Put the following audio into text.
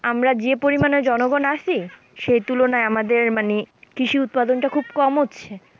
আমরা যে পরিমানে জনগণ আছি, সেই তুলনায় আমাদের মানে কৃষি উৎপাদনটা খুব কম হচ্ছে।